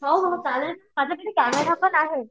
हो हो चालेल माझ्याकडे कॅमेरा पण आहे.